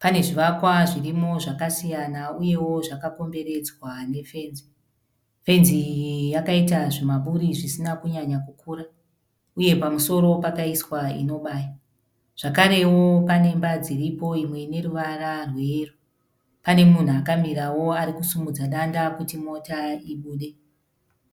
Pane zvivakwa zvirimo zvakasiyana uyewo zvakakomberedzwa nefenzi. Fenzi iyi yakaita zvimaburi zvisina kunyanya kukura uye pamusoro pakaiswa inobaya zvakarewo panemba dziripo imwe ine ruvara rweyero. Pane munhu akmirawo ari kusimudza danda kuti mota ibude.